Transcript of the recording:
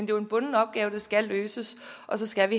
jo en bunden opgave der skal løses og så skal